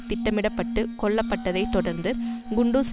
திட்டமிட பட்டு கொல்லப்பட்டதைத் தொடர்ந்து குண்டுஸ்